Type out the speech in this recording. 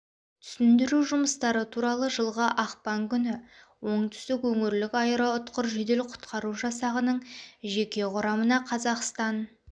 түсіндіру жұмыстары туралы жылғы ақпан күні оңтүстік өңірлік аэроұтқыр жедел құтқару жасағының жеке құрамына қазақстан